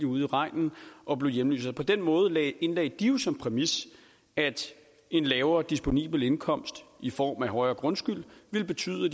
ude i regnen og blev hjemløse på den måde indlagde de jo som præmis at en lavere disponibel indkomst i form af højere grundskyld ville betyde at